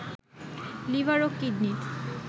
liver ও কিডনির